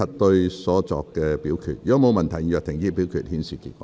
如果沒有問題，現在停止表決，顯示結果。